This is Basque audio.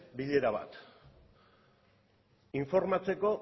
bilera bat informatzeko